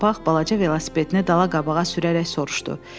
Pony Papaq balaca velosipedini dala qabağa sürərək soruşdu.